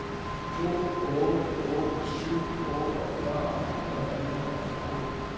to otte otte syv otteogfyrre fire hundrede og fyrre